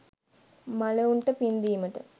මළවුන්ට පින් දීමට,